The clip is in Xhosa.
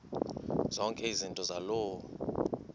zonke izinto zaloo